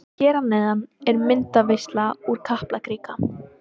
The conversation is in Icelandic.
Hér að neðan er myndaveisla úr Kaplakrika.